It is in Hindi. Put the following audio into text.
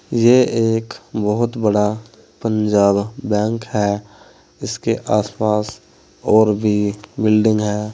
ये एक बहोत बड़ा पंजाब बैंक है इसके आसपास और भी बिल्डिंग है।